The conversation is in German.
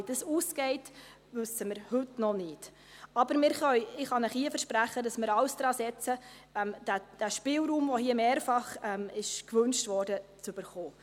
Wie es ausgeht, wissen wir heute noch nicht, aber ich kann Ihnen hier versprechen, dass wir alles daransetzen, den Spielraum, der hier mehrfach gewünscht wurde, zu bekommen.